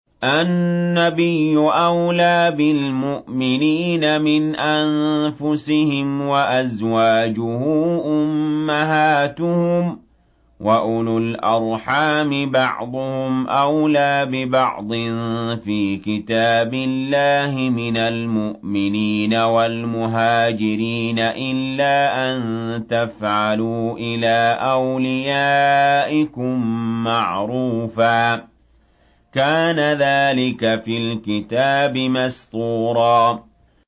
النَّبِيُّ أَوْلَىٰ بِالْمُؤْمِنِينَ مِنْ أَنفُسِهِمْ ۖ وَأَزْوَاجُهُ أُمَّهَاتُهُمْ ۗ وَأُولُو الْأَرْحَامِ بَعْضُهُمْ أَوْلَىٰ بِبَعْضٍ فِي كِتَابِ اللَّهِ مِنَ الْمُؤْمِنِينَ وَالْمُهَاجِرِينَ إِلَّا أَن تَفْعَلُوا إِلَىٰ أَوْلِيَائِكُم مَّعْرُوفًا ۚ كَانَ ذَٰلِكَ فِي الْكِتَابِ مَسْطُورًا